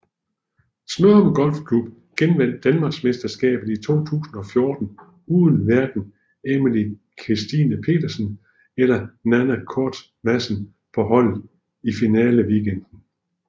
Smørum Golfklub genvandt Danmarksmesterskabet i 2014 uden hverken Emily Kristine Pedersen eller Nanna Koerstz Madsen på holdet i finaleweekenden